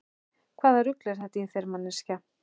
Hvaða rugl er þetta í þér manneskja!